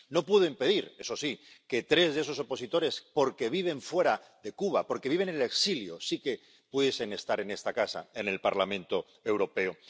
No pudieron impedir, eso sí, que tres de esos opositores, porque viven fuera de Cuba, porque viven en el exilio, sí que pudiesen estar en esta casa, en el Parlamento Europeo.